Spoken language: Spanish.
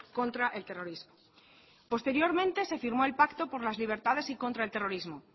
contra el terrorismo posteriormente se firmó el pacto por las libertades y contra el terrorismo